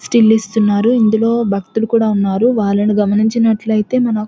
still ఇస్తున్నారు ఇందులో భక్తులు కూడా ఉన్నారు వాళ్లను గమనించినట్లయితే మన --